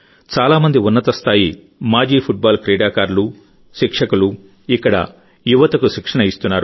చాలా మంది ఉన్నత స్థాయి మాజీ ఫుట్బాల్ క్రీడాకారులు శిక్షకులు ఇక్కడ యువతకు శిక్షణ ఇస్తున్నారు